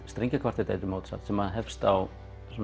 strengjakvartett eftir Mozart sem hefst á